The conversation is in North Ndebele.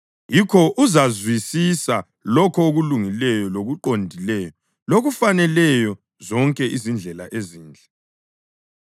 Yikho uzazwisisa lokho okulungileyo lokuqondileyo lokufaneleyo zonke izindlela ezinhle.